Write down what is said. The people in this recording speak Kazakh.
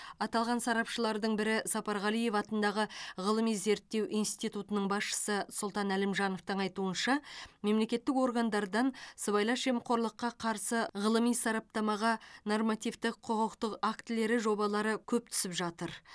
аталған сарапшылардың бірі сапарғалиев атындағы ғылыми зерттеу институтының басшысы сұлтан әлімжановтың айтуынша мемлекеттік органдардан сыбайлас жемқорлыққа қарсы ғылыми сараптамаға нормативті құқықтық актілері жобалары көп түсіп жатыр